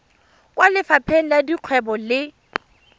kwa lefapheng la dikgwebo le